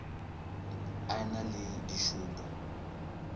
a e na le dišupo